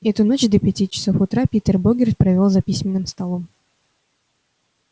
эту ночь до пяти часов утра питер богерт провёл за письменным столом